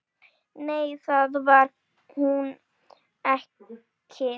Nei, það var hún ekki.